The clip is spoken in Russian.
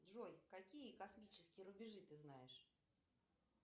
джой какие космические рубежи ты знаешь